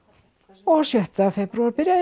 og sjötta febrúar byrjaði